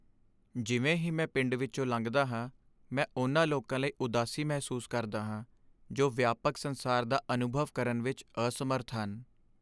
ਜਿਵੇਂ ਹੀ ਮੈਂ ਪਿੰਡ ਵਿੱਚੋਂ ਲੰਘਦਾ ਹਾਂ, ਮੈਂ ਉਨ੍ਹਾਂ ਲੋਕਾਂ ਲਈ ਉਦਾਸੀ ਮਹਿਸੂਸ ਕਰਦਾ ਹਾਂ ਜੋ ਵਿਆਪਕ ਸੰਸਾਰ ਦਾ ਅਨੁਭਵ ਕਰਨ ਵਿੱਚ ਅਸਮਰੱਥ ਹਨ।